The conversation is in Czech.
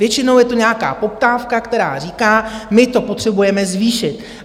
Většinou je to nějaká poptávka, která říká: My to potřebujeme zvýšit.